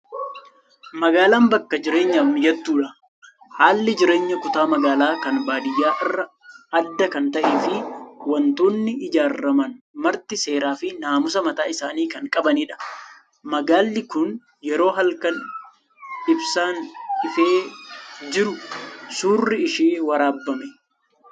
Magaalaan bakka jireenyaaf mijattuudha. Haalli ijaarsa kutaa magaalaa kan baadiyyaa irraa adda kan ta'ee fi waantonni ijaaraman marti seeraa fi naamusa mataa isaanii kan qabanidha. Magaalli Kun yeroo halkan ibsaan ifee jiru suurri ishee waraabame.